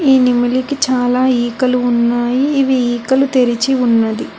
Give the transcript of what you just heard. ఈ నెమిలికి చాలా ఈకలు ఉన్నాయి ఇవి ఈకలు తెరచి ఉన్నది.